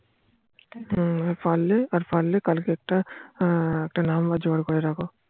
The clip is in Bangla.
আর পারলে কালকে একটা Number জোগাড় করে রাখো